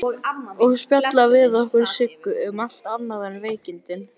Og spjalla við okkur Siggu, um allt annað en veikindin.